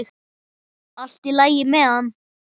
Allt í lagi með hann.